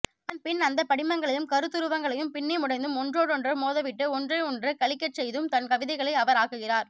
அதன்பின் அந்தப் படிமங்களையும் கருத்துருவங்களையும் பின்னி முடைந்தும் ஒன்றோடொன்று மோதவிட்டு ஒன்றையொன்று கழிக்கச் செய்தும் தன்கவிதைகளை அவர் ஆக்குகிறார்